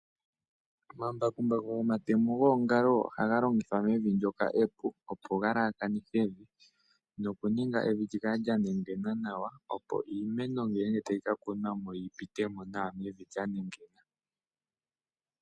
Omambakumbaku gomatemo goongalo, oha ga longithwa mevi ndyoka epu, opo ga lalakanithe evi, noku ninga evi lyi ka le lya nengena nawa, nuuna mwa kunwa iimeno ota yipiti mo nawa.